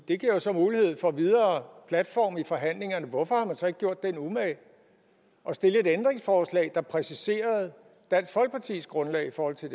det giver jo så mulighed for en videre platform i forhandlingerne hvorfor har man så ikke gjort sig den umage at stille et ændringsforslag der præciserede dansk folkepartis grundlag i forhold til